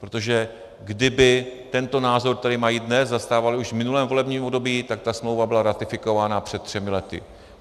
Protože kdyby tento názor, který mají dnes, zastávali už v minulém volebním období, tak ta smlouva byla ratifikována před třemi lety.